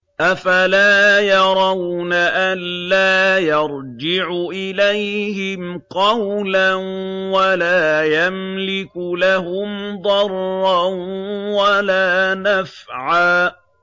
أَفَلَا يَرَوْنَ أَلَّا يَرْجِعُ إِلَيْهِمْ قَوْلًا وَلَا يَمْلِكُ لَهُمْ ضَرًّا وَلَا نَفْعًا